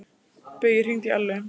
Baui, hringdu í Ellu.